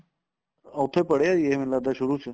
ਉੱਥੇ ਪੜ੍ਹਿਆ ਵੀ ਏ ਮੈਨੂੰ ਲਗਦਾ ਸ਼ੁਰੂ ਚ